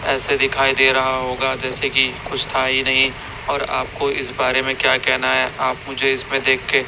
ऐसे दिखाई दे रहा होगा जैसे की कुछ था ही नहीं और आपको इस बारे में क्या कहना है आप मुझे इसमें देख के--